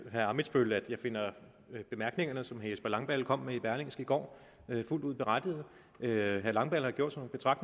herre ammitzbøll at jeg finder bemærkningerne som herre jesper langballe kom med i berlingske i går fuldt ud berettigede herre langballe har gjort sig